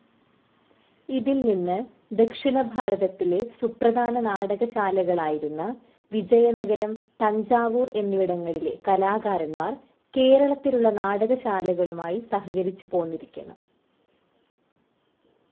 ഇതിൽ നിന്ന് ദക്ഷിണഭാരതത്തിലെ സുപ്രധാന നാടകശാലകളായിരുന്ന വിജയനഗരം, തഞ്ചാവൂർ എന്നിവിടങ്ങളിലെ കലാകാരന്മാർ കേരളത്തിലുള്ള നാടകശാലകളുമായി സഹകരിച്ചുപോന്നിരിക്കണം.